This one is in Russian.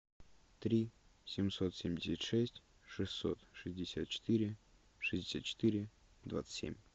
три семьсот семьдесят шесть шестьсот шестьдесят четыре шестьдесят четыре двадцать семь